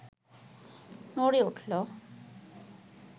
নড়ে উঠল